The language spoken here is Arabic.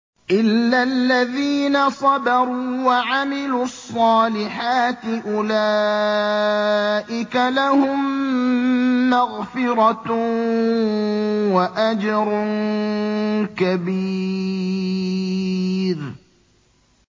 إِلَّا الَّذِينَ صَبَرُوا وَعَمِلُوا الصَّالِحَاتِ أُولَٰئِكَ لَهُم مَّغْفِرَةٌ وَأَجْرٌ كَبِيرٌ